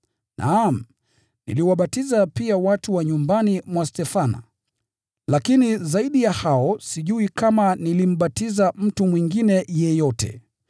(Naam, niliwabatiza pia watu wa nyumbani mwa Stefana. Lakini zaidi ya hao sijui kama nilimbatiza mtu mwingine yeyote.)